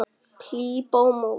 Klíp á móti.